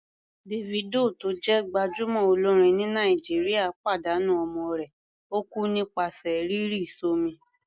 Davido tó jẹ́ gbájúmọ́ olórin ní Nàìjíríà pàdánù ọmọ rẹ̀, ó kú nípasẹ̀ rírì s'ọ́mi.